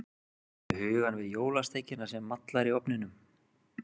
Ertu með hugann við jólasteikina sem mallar í ofninum?